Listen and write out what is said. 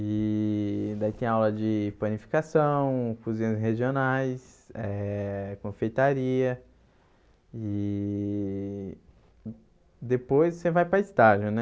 e daí tem aula de panificação, cozinhas regionais, eh confeitaria e depois você vai para estágio, né?